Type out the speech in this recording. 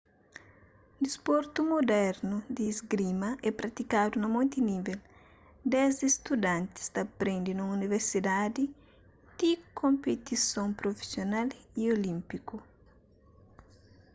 disportu mudernu di isgrima é pratikadu na monti nível desdi studantis ta prende nun universidadi ti konpetison prufisional y olínpiku